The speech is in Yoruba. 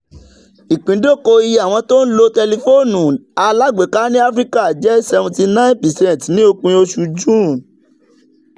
ìpíndóko iye àwọn tó ń lo tẹlifóònù alágbèéká ní áfíríkà jẹ́ seventy nine percent ní òpin oṣù june.